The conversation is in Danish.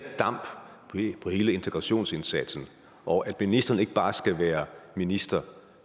damp på hele integrationsindsatsen og at ministeren ikke bare skal være minister